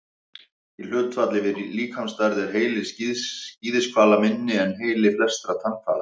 Í hlutfalli við líkamsstærð er heili skíðishvala minni en heili flestra tannhvala.